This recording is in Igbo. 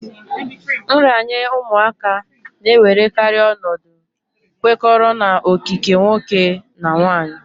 Nranye ụmụaka na-ewerekarị ọnọdụ kwekọrọ na okike nwoke nà nwaanyị